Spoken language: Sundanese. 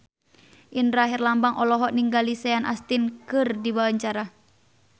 Indra Herlambang olohok ningali Sean Astin keur diwawancara